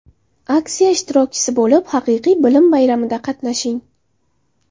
Aksiya ishtirokchisi bo‘lib, haqiqiy bilim bayramida qatnashing.